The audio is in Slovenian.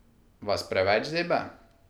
Vas preveč zebe?